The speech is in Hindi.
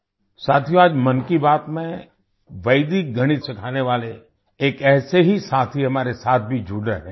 साथियो आज मन की बात में वैदिक गणित सिखाने वाले एक ऐसे ही साथी हमारे साथ भी जुड़ रहे हैं